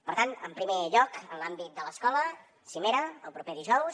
per tant en primer lloc en l’àmbit de l’escola cimera el proper dijous